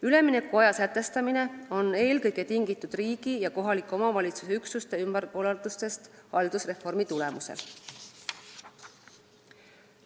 Üleminekuaja sätestamine on tingitud eelkõige riigi ja kohaliku omavalitsuse üksuste ümberkorraldustest haldusreformi tulemusel.